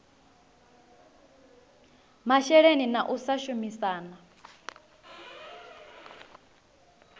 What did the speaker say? masheleni na u sa shumisana